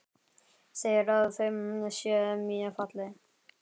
Segir að þau séu mjög falleg.